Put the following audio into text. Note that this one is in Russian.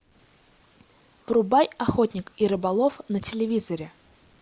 врубай охотник и рыболов на телевизоре